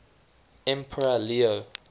emperor leo